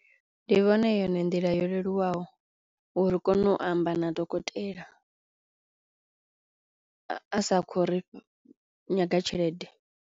Ndi vhona I yone nḓila yo leluwaho uri ri kono u amba na dokotela a sa kho ri nyaga tshelede.